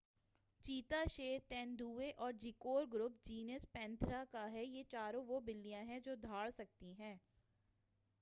چیتا شیر، تیندوے اور جیگور گروپ جینس پینتھیرا کا ہے۔ یہ چاروں وہ بلیاں ہیں جو دھاڑ سکتی ہیں۔